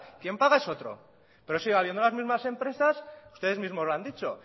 quién paga es otro pero sigue habiendo las mismas empresas ustedes mismos lo han dicho